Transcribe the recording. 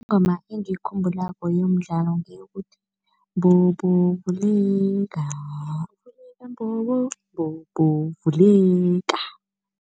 Ingoma engiyikhumbulako yomdlalo ngeyokuthi, mbobo vuleka, vuleka mbobo, mbobo vuleka.